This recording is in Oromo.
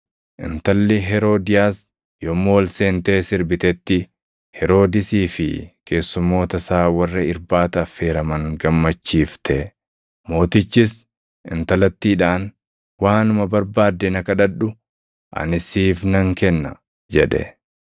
Intalli Heroodiyaas yommuu ol seentee sirbitetti Heroodisii fi keessummoota isaa warra irbaata affeeraman gammachiifte. Mootichis intalattiidhaan, “Waanuma barbaadde na kadhadhu; ani siif nan kenna!” jedhe.